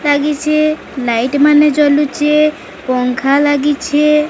ଆଜି ସେ ନାଇଟି ମାନେ ଜଳୁଚି ପଙ୍ଖା ଲଗିଛେ।